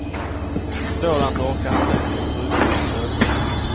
Sådant orkar inte ens ryssar stå emot.